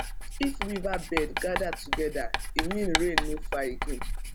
if weaver bird gather together e mean rain no far again